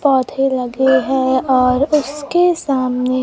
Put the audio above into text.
पौधे लगे हैं और उसके सामने--